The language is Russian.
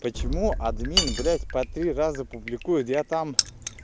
почему админ блядь по три раза публикует я там